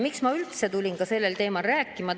Miks ma üldse tulin sellel teemal rääkima?